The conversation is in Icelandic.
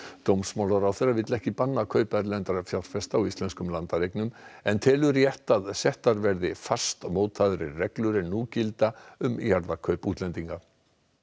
dómsmálaráðherra vill ekki banna kaup erlendra fjárfesta á íslenskum landareignum en telur rétt að settar verði fastmótaðri reglur en nú gilda um jarðakaup útlendinga